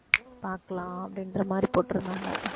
பார்க்கலாம் அப்படின்ற மாதிரி போட்டுருந்தாங்க